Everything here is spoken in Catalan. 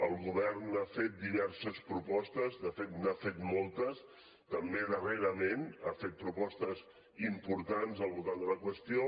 el govern ha fet diverses propostes de fet n’ha fet moltes també darrerament ha fet propostes importants al voltant de la qüestió